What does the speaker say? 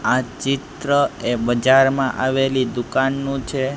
આ ચિત્ર એ બજારમાં આવેલી દુકાનનું છે.